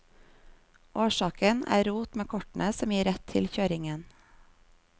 Årsaken er rot med kortene som gir rett til kjøringen.